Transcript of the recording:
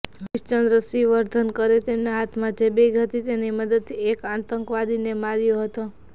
હરિશ્ચંદ્ર શ્રીવર્ધનકરે તેમના હાથમાં જે બેગ હતી તેની મદદથી એક આતંકવાદીને માર્યો હતો